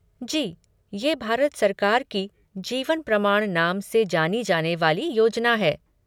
जी, ये भारत सरकार की जीवन प्रमाण नाम से जानी जाने वाली योजना है।